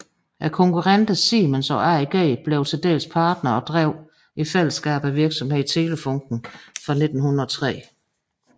Konkurrenterne Siemens og AEG blev til dels partnere og drev i fællesskab virksomheden Telefunken fra 1903